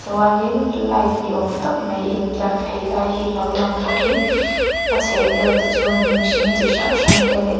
chuanin light ni awm tak mai in tlar phei lai hi lo lang bawkin a chhehvel te chu hnim hring chi hrang hrang te leh--